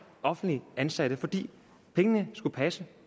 offentligt ansatte fordi pengene skulle passe